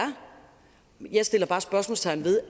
jeg sætter bare spørgsmålstegn ved